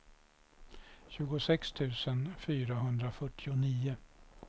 tjugosex tusen fyrahundrafyrtionio